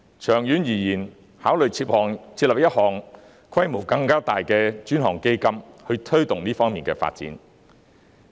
長遠而言，應考慮設立規模更大的專項基金，推動這方面的發展。